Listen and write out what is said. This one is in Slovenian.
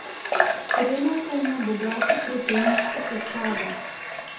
Hrenovka ima bogato proteinsko sestavo.